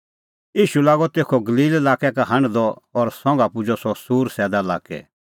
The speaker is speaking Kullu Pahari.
ईशू लागअ तेखअ गलील लाक्कै का हांढदअ और संघा पुजअ सह सूर सैदा लाक्कै